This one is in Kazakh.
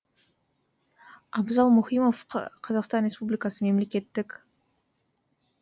абзал мұхимов қазақстан республикасы мемлекеттік